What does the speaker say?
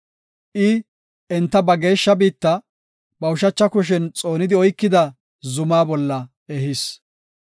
I enta ba geeshsha biitta, ba ushacha kushen xoonidi oykida zuma bolla ehis.